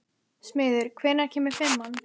Smiður, hvenær kemur fimman?